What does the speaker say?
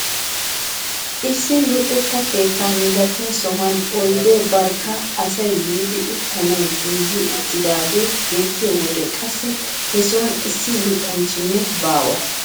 Issi luxetta keettaa milatiyaa sohuwaan oydee barkka asay yiidi uttanawu giigi uttidagee beettiyo wode qassi he sohuwaan issi luxanchchinne baawa.